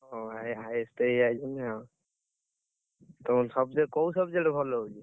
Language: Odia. ଓ ଭାଇ, ଏତେ ଇଏ ଆଇଛନ୍ତି ଆଉ। ତୋର subject କୋଉ subject ଭଲ ହଉଛି?